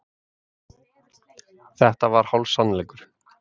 Þetta var hálfsannleikur.